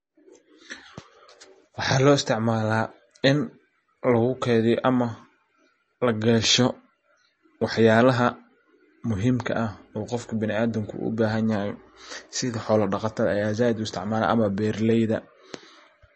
Waxa loo isticmala in lagu keydiyo ama lagesho wax yalaha muhimka ah oo qof biniadamka uu bahanyahay sidha xola dhaqatada ayaa zaid u isticmalan ama beeraleyda.